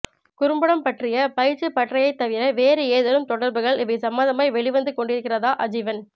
குறும்படம் பற்றிய பயிற்சிப் பட்டறையைத் தவிர வேறு ஏதேனும் தொடர்கள் இவை சம்பந்தமாய் வெளிவந்து கொண்டிருக்கிறதா அஜீவன்